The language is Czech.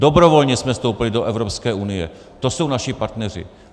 Dobrovolně jsme vstoupili do Evropské unie, to jsou naši partneři.